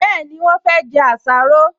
Bẹ́ẹ̀ni, wọ́n fẹ́ jẹ àsáró